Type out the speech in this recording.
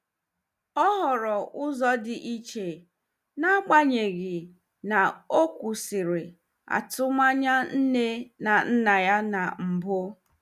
O họọrọ ụzọ dị iche, n'agbanyeghị na ọ kwụsịrị atụmanya nne na nna ya na mbụ.